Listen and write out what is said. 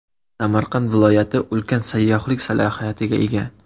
Samarqand viloyati ulkan sayyohlik salohiyatiga ega.